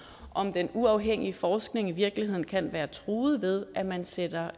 om den uafhængige forskning i virkeligheden kan være truet ved at man sætter